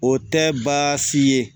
O tɛ baasi ye